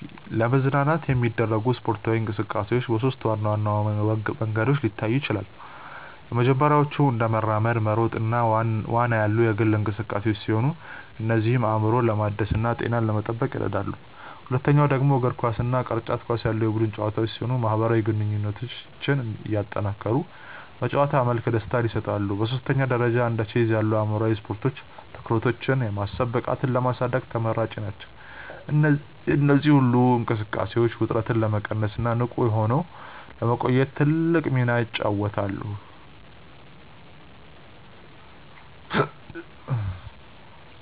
ለመዝናናት የሚደረጉ ስፖርታዊ እንቅስቃሴዎች በሦስት ዋና ዋና መንገዶች ሊታዩ ይችላሉ። የመጀመሪያዎቹ እንደ መራመድ፣ መሮጥ እና ዋና ያሉ የግል እንቅስቃሴዎች ሲሆኑ እነዚህም አእምሮን ለማደስና ጤናን ለመጠበቅ ይረዳሉ። ሁለተኛው ደግሞ እንደ እግር ኳስ እና ቅርጫት ኳስ ያሉ የቡድን ጨዋታዎች ሲሆኑ ማህበራዊ ግንኙነትን እያጠናከሩ በጨዋታ መልክ ደስታን ይሰጣሉ። በሦስተኛ ደረጃ እንደ ቼዝ ያሉ አእምሯዊ ስፖርቶች ትኩረትንና የማሰብ ብቃትን ለማሳደግ ተመራጭ ናቸው። እነዚህ ሁሉ እንቅስቃሴዎች ውጥረትን ለመቀነስና ንቁ ሆኖ ለመቆየት ትልቅ ሚና ይጫወታሉ።